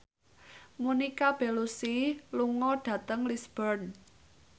Monica Belluci lunga dhateng Lisburn